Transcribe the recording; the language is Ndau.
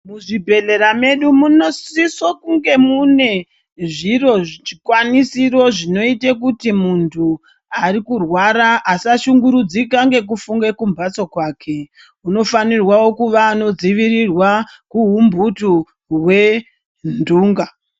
Muzvibhedhlera medu munosiso kunge mune zviro zvikwanisiro zvinoite kuti muntu ari kurwara asashungurudzika ngekufunge kumhatso kwake unofanirwa kuva anodzivirirwa kuhumputu hwentunga.